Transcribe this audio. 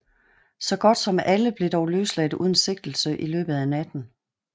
Så godt som alle blev dog løsladt uden sigtelse i løbet af natten